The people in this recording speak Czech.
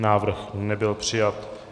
Návrh nebyl přijat.